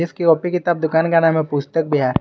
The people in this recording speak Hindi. इस कॉपी किताब दुकान का नाम है पुस्तक बिहा--